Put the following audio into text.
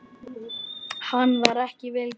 Hann var ekki vel gefinn.